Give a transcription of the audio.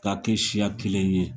K'a kɛ siya kelen ye